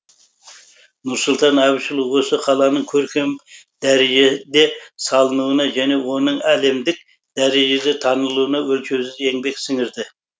нұрсұлтан әбішұлы осы қаланың көркем дәрежеде салынуына және оның әлемдік дәрежеде танылуына өлшеусіз еңбек сіңірді